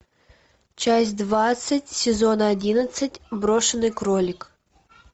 часть двадцать сезона одиннадцать брошенный кролик